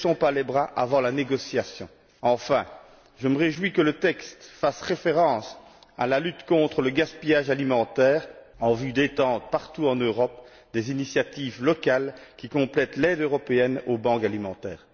Ne baissons pas les bras avant la négociation. Enfin, je me réjouis que le texte fasse référence à la lutte contre le gaspillage alimentaire en vue d'étendre partout en Europe des initiatives locales qui complètent l'aide européenne aux banques alimentaires.